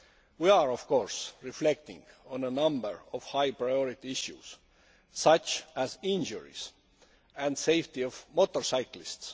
We are, of course, reflecting on a number of high priority issues, such as injuries and safety of motorcyclists.